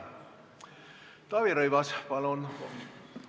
Taavi Rõivas, palun!